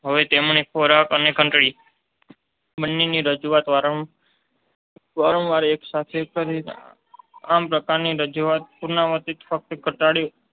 હવે તેમણે ખોરાક અને ઘંટડી બન્નેની રજૂઆત વારંવાર એકસાથે કરી. આમ, આ પ્રકારની રજૂઆતના પુનરાવર્તનથી ફક્ત ધટાડયો